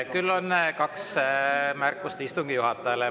Küll on kaks märkust istungi juhatajale.